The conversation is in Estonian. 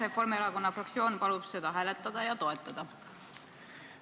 Reforimierakonna fraktsioon palub seda hääletada ja toetada!